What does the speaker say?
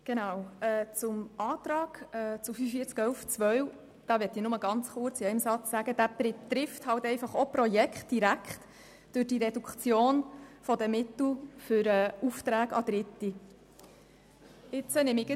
Ich möchte zum Antrag bezüglich der Massnahme 45.11.2 kurz in einem Satz nur sagen, dass diese Massnahme durch die Reduktion der Mittel für Aufträge an Dritte direkt Projekte betrifft.